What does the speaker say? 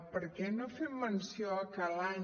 per què no fem menció que l’any